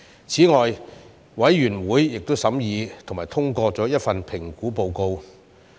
此外，委員會亦審議及通過了1份評估報告。